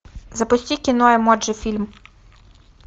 запусти кино эмоджи фильм